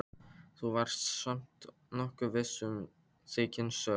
Þú varst samt nokkuð viss í þinni sök.